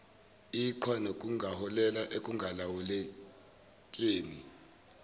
iqhwa nokungaholela ekungalawulekeni